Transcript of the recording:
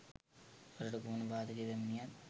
රටට කුමන බාදක පැමිණියත්